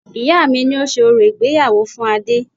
Ìyá mi ni ó ṣe orò ìgbéyàwó fún Adé